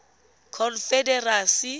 confederacy